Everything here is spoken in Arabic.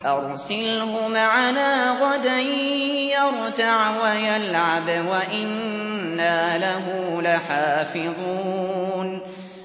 أَرْسِلْهُ مَعَنَا غَدًا يَرْتَعْ وَيَلْعَبْ وَإِنَّا لَهُ لَحَافِظُونَ